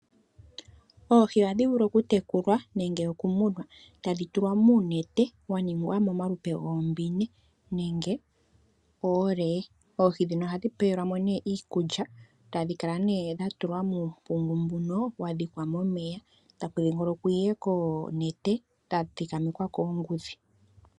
Oohi ohadhi vulu okutekulwa nenge okumunwa ,tadhi tulwa muunete wa ningwa momalupe lwoombine nenge oolee. Oohi ndhino ohadhi pe welwa mo iikulya tadhi kala nee dha tulwa muumpungu mbuno wa dhikwa momeya taku dhingolongokwa nee koonete dha tulwa koongudhi.